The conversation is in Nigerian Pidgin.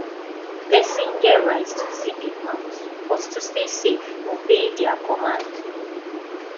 persin get right to zip im mouth but to stay safe obey their command